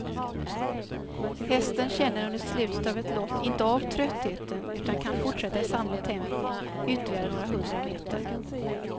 Hästen känner under slutet av ett lopp inte av tröttheten utan kan fortsätta i samma tempo ytterligare några hundra meter.